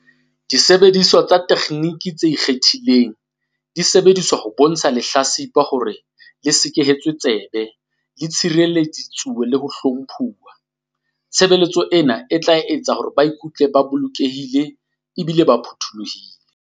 Disebediswa le ditekgenini tse ikgethileng di sebedisetswa ho bontsha lehla-tsipa hore le sekehetswe tsebe, le tshirelleditswe le ho hlomphuwa. Tshebeletso ena e tla etsa hore ba ikutlwe ba lokollohile ebile ba phuthollohile.